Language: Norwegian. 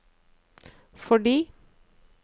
fordi